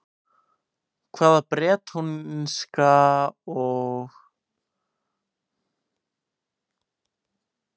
Hvað er bretónska og hvað er gelíska?